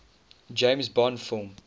james bond film